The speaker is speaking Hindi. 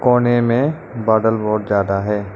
कोने में बादल बहुत ज्यादा है।